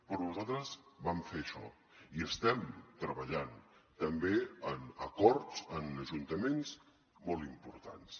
però nosaltres vam fer això i estem treballant també en acords en ajuntaments molt importants